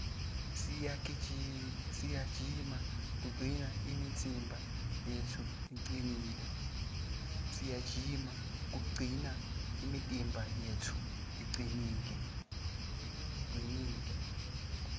siyajima kugcina imitimba yetfu icinile